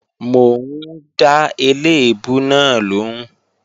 Mò ń dá eléèbú náà lòún